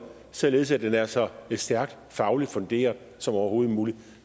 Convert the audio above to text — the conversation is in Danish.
således at den er så stærkt fagligt funderet som overhovedet muligt